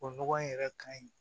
O nɔgɔ in yɛrɛ ka ɲi